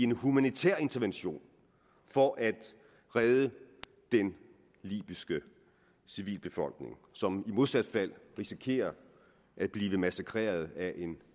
en humanitær intervention for at redde den libyske civilbefolkning som i modsat fald risikerer at blive massakreret af en